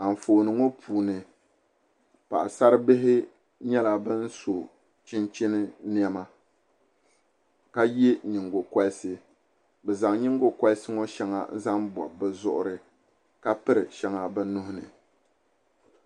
Anfooni it puuni paɣsari Bihim nyɛla ban so chinchin nɛma Ka yɛ nyingo kɔrisi bɛ zan nyingokɔrisi ŋɔ shɛŋa n zaŋ bɔbi bɛ zuɣiri ka piri shɛŋa bɛ nuhini.